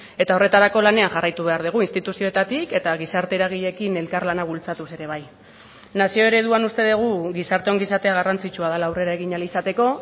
eta horretarako lanean jarraitu behar dugu instituzioetatik eta gizarte eragileekin elkarlana bultzatuz ere bai nazio ereduan uste dugu gizarte ongizatea garrantzitsua dela aurrera egin ahal izateko